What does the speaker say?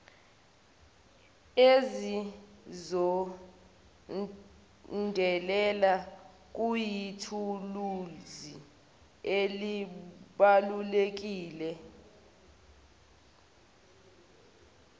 ezizolandela kuyithuluzi elibalulekile